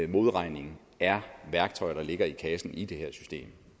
modregning er værktøjer der ligger i kassen i det her system